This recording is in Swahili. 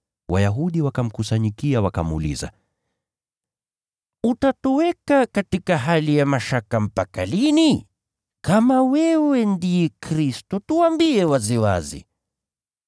Wayahudi wakamkusanyikia wakamuuliza, “Utatuweka katika hali ya mashaka mpaka lini? Kama wewe ndiye Kristo tuambie waziwazi.”